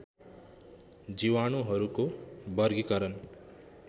जीवाणुहरूको वर्गीकरण